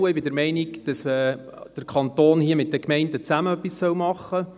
Ich bin der Meinung, dass der Kanton hier mit den Gemeinden zusammen etwas tun soll.